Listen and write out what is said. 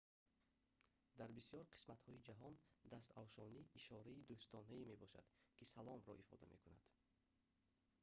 дар бисёр қисматҳои ҷаҳон дастафшонӣ ишораи дӯстонае мебошад ки «салом»-ро ифода мекунад